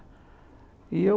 E eu